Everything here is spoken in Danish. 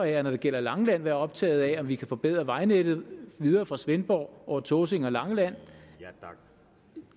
jeg når det gælder langeland være optaget af om vi kan forbedre vejnettet videre fra svendborg over tåsinge og til langeland